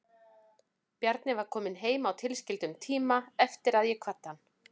Bjarni hafði komið heim á tilskildum tíma eftir að ég kvaddi hann.